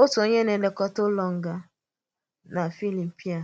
Òtù onye na-èlèkọta ụlọ ngā na Filipaị